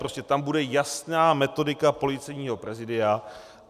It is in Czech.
Prostě tam bude jasná metodika Policejního prezídia.